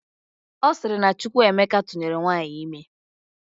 Ọ sịrị na Chukwuemeka tụnyere nwaanyị ime